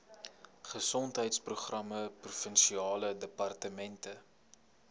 gesondheidsprogramme provinsiale departement